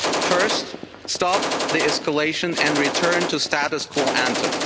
First, stop the escalation and return to the status quo ante.